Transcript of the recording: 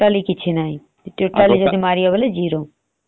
ଏବେ ଚାଓମିନ ତେ ଖାଇବେ ସେ ଚାଓମିନ ରେ କଣ vitamin ଅଛି